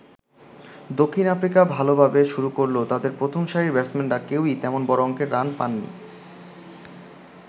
দক্ষিণ আফ্রিকা ভালোভাবে শুরু করলেও তাদের প্রথম সারির ব্যাটসম্যানরা কেউই তেমন বড় অংকের রান পান নি।